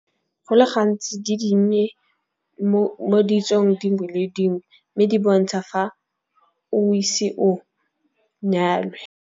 Go le gantsi di dinnye mo ditsong dingwe le dingwe mme di bontsha fa o ise o nyalwe.